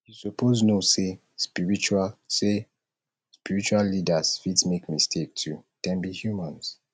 you suppose know sey spiritual sey spiritual leaders fit make mistake too dem be humans